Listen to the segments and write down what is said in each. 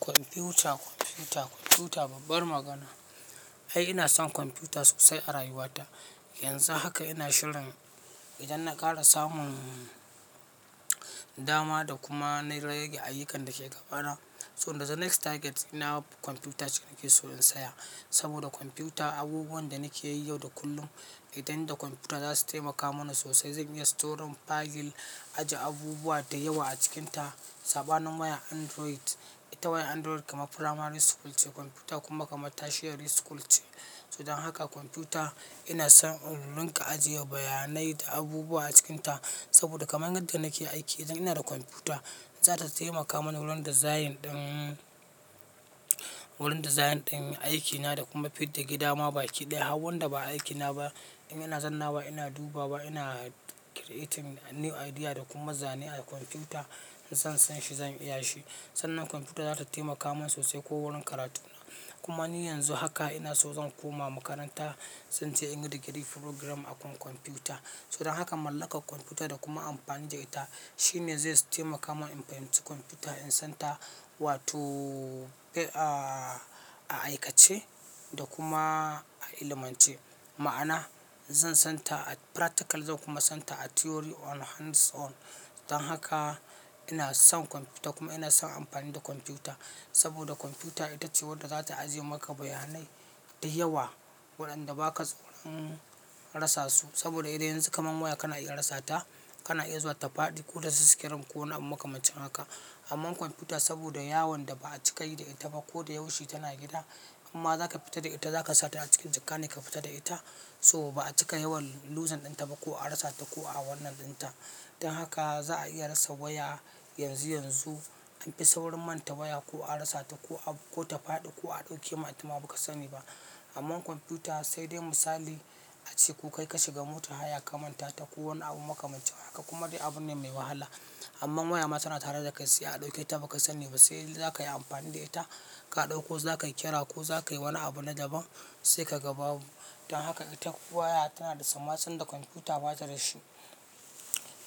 Kwamfuta, kwamfuta, kwamfuta babbar magana. Ai ina son kwamfyuta sosai a rayuwata. Yanzu haka ina shirin idan na ƙara samun dama da kuma na rage ayyukan da ke gabana. Toh yanzu next target ɗina kwamfyuta ce nake so in siya. Saboda kwamfuta abubuwan da nake yi yau da kullum idan ina da kwamfyuta zasu taimaka mana sosai. Zan iya storing file, ajiye abubuwa da yawa a cikinta. Saɓanin wayan Android, ita wayan Android kamar firamari school ce kwamfyuta kuma kamar tertiary school ce. Don haka kwamfyuta ina son in rinka ajiye bayanai da abubuwa a cikinta. Saboda kamar yadda nake aiki idan ina da kwamfyuta za ta taimaka mani wurin design ɗin, wurin design ɗin aiki na da kuma fitar da gida ma baki ɗaya. Har wan da ba aiki na ba in ina zannawa ina dubawa ba ina creating new idea da kuma zane a kwamfyuta in san san shi zan iya shi. Sannan kwamfyuta za ta taimaka min sosai ko wurin karatuna. Kuma ni yanzu haka ina so zan koma makaranta zan je in yi degree program akan kwamfyuta. Don haka mallakar kwamfyuta da kuma amfani da ita shine zai taimaka min in fahimci kwamfyuta in san ta wato a aikace da kuma a ilimance. Ma'ana zan san ta a practical zan kuma san ta a theory on hands on. Don haka ina son kwamfyuta kuma ina son amfani da kwamfyuta. Saboda kwamfyuta ita ce wadda za ta ajiye maka bayanai da yawa waɗanda ba ka son rasa su. Saboda yanzu kamar waya kana iya rasa ta kana iya zuwa ta faɗi ko ta ci screen ko wani abu makamancin haka. Amman kwamfyuta saboda yawan da ba'a cika yi da ita ba ko da yaushe tana gida. Imma zaka fita da ita zaka sa ta a cikin jaka ne ka fita da ita. To ba'a cika yawan using dinta ba ko a rasa ta ko a wannan dinta. Don haka za'a iya rasa waya yanzu yanzu an fi saurin manta waya ko a rasa ta ko, ko ta faɗi ko a ɗauke ma ita ma baka sani ba. Amman kwamfyuta sai dai misali ace ko kai ka shiga motar haya ka manta ta ko wani abu makamancin haka kuma dai abune mai wahala. Amma waya ma tana tare da kai sai a ɗauke ta baka sani ba. Sai dai zakayi amfani da ita ka ɗauko zakayi kira ko zakayi wani abu na daban sai ka gababu. Don haka ita waya tana da sammacin da kwamfyuta ba ta da shi.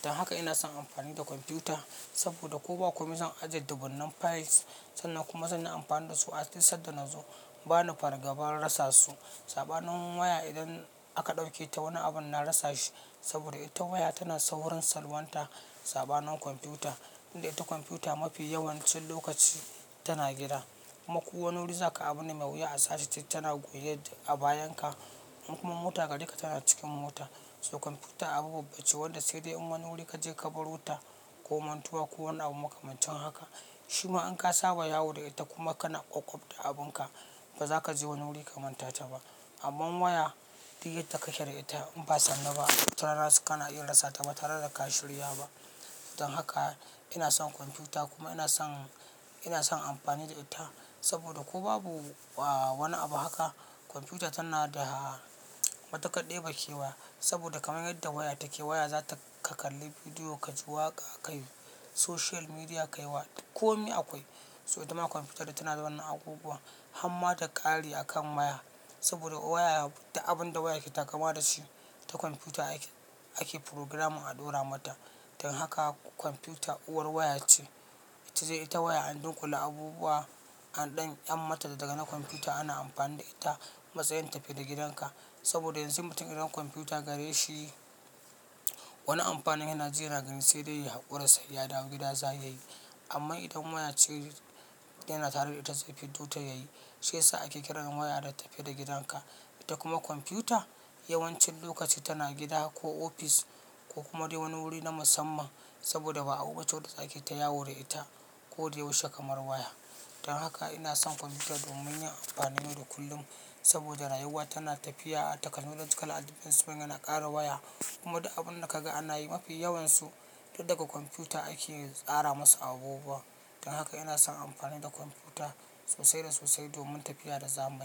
Don haka ina son amfani da kwamfyuta saboda ko ba komai zan ajiye dubunnan files sannan kuma zan yi amfani da su a duk san da nazo. Ba na fargabar rasa su. Saɓanin waya idan aka ɗauke ta wani abun na rasa shi. Saboda ita waya tana saurin salwanta saɓanin kwamfuta. Inda ita kwamfuta mafi yawancin lokaci tana gida. Kuma ko wani wuri zaka abu ne mai wuya a sace ta. Tana goye a bayan ka in kuma mota gare ka tana cikin mota. So kwamfyuta abu babba ce wadda sai dai in wani wuri ka je ka barota ko mantuwa ko wani abu makamancin haka. Shi ma in ka saba yawo da ita kuma kana ƙoƙob da abunka ba za ka je wani wuri ka manta ta ba. Amma waya duk yadda kake da ita in ba sannu ba watarana kana iya rasa ta ba tare da ka shirya ba. Don haka ina son kwamfuta kuma ina son, ina son amfani da ita. Saboda ko babu wani abu haka kwamfyuta tana da matuƙar ɗebe kewa. Saboda kamar yadda waya take waya za ta ka kalli bidiyo ka ji waƙa kayi social media kayi wa duk komai akwai. To itama kwamfyutar da ta tana da wannan abubuwan harma da ƙari akan waya. Saboda waya duk abun da waya ke taƙama da shi ta kwamfyuta ake, ake furugaram a ɗora mata. Don haka kwamfuta uwar waya ce. Saidai ita waya an dunƙula abubuwa an ɗan ƴammata daga na kwamfyuta ana amfani da ita matsayin tafi da gidanka. Saboda yanzu mutum idan kwamfyuta gare shi, wani amfanin yana ji yana gani sai dai ya haƙura sai ya dawo gida za a iya yi amma idan waya ce yana tare da ita zai fiddo ta yayi. Sai sa ake kiran waya da tafi da gidanka. Ita kuma kwamfyuta yawancin lokaci tana gida ko ofis ko kuma dai wani wuri na musamman. Saboda ba abu bace wacce ake ta yawo da ita, ko da yaushe kamar waya. Don haka ina son kwamfyuta domin yin amfanin yau da kullum. Saboda rayuwa tana tafiya, technology kala daban sunga na kare waya. Kuma duk abun da kaga ana yi mafi yawansu duk daga kwamfyuta ake tsara masu abubuwan. Don haka ina son amfani da kwamfuta sosai da sosai domin tafiya da zamani.